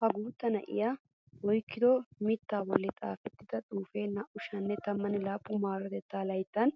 Ha guutta na'iya oyikkido mitta bollan xaafettida xuufee 2017 maarotettaa layittan